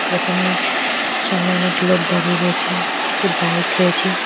দোকানের সামনে অনেক লোক দাঁড়িয়ে রয়েছে একটি বাইক রয়েছে।